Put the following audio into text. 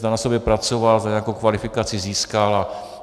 Zda na sobě pracoval, zda nějakou kvalifikaci získal.